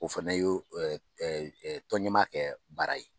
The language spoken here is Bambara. O fɛnɛ ye o ɛ ɛ ɛ tɔnɲɛmaya kɛ baara ye.